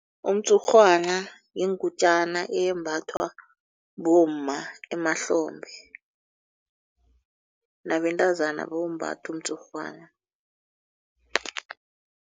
Umtshurhwana yingutjana eyembathwa bomma emahlombe nabentazana bawumbatha umtshurhwana.